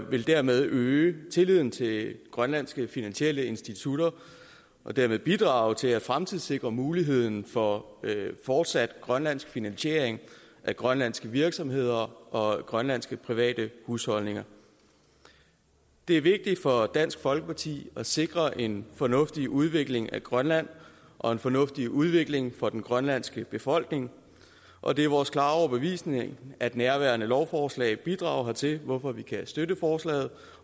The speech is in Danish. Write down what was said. vil dermed øge tilliden til grønlandske finansielle institutter og dermed bidrage til at fremtidssikre muligheden for fortsat grønlandsk finansiering af grønlandske virksomheder og grønlandske private husholdninger det er vigtigt for dansk folkeparti at sikre en fornuftig udvikling af grønland og en fornuftig udvikling for den grønlandske befolkning og det er vores klare overbevisning at nærværende lovforslag bidrager hertil hvorfor vi kan støtte forslaget